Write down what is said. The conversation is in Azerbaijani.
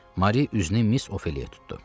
Mari üzünü Miss Ofeliyaya tutdu.